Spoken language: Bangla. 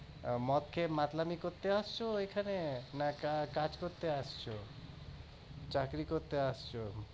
মদ খেয়ে মাতলামি করতে আসছো এখানে নাকি কাজ করতে এসেছো চাকরি করতে এসেছো